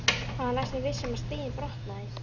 Hann var næstum viss um að stiginn brotnaði.